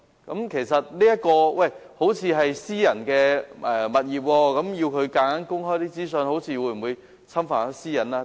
有人或會說，這些是私人物業，強行要求它們公開資訊，會否侵犯私隱？